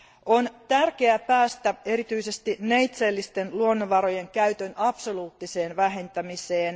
On tärkeää päästä erityisesti neitseellisten luonnonvarojen käytön absoluuttiseen vähentämiseen.